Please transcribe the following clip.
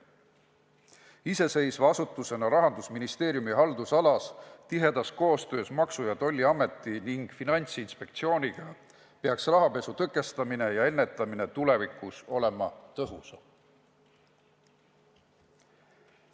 Tegutsedes iseseisva asutusena Rahandusministeeriumi haldusalas ja tihedas koostöös Maksu- ja Tolliameti ning Finantsinspektsiooniga, peaks bürool rahapesu tõkestamine ja ennetamine tulevikus tõhusam olema.